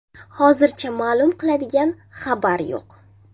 Hozircha ma’lum qiladigan xabar yo‘q.